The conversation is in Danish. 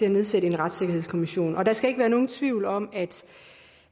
at nedsætte en retssikkerhedskommission og der skal ikke være nogen tvivl om